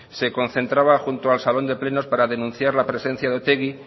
se concentraba junto al salón de plenos para denunciar la presencia de otegi